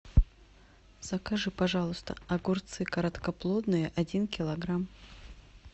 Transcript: закажи пожалуйста огурцы короткоплодные один килограмм